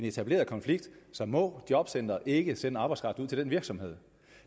etableret konflikt må jobcenteret ikke sender arbejdskraft ud til virksomheden